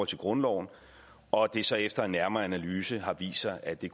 til grundloven og at det så efter en nærmere analyse har vist sig at det